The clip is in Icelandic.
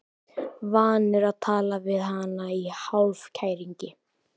Vanur að tala við hana í hálfkæringi.